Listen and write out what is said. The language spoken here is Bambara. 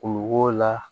Kulukoro la